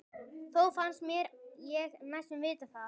Þó fannst mér ég næstum vita það.